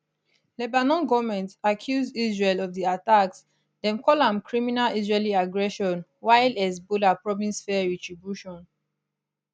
lebanon goment accuse israel of di attacks dem call am criminal israeli aggression while hezbollah promise fair retribution